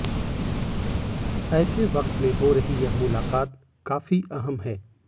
ऐसे वक्त में हो रही यह मुलाकात काफी अहम है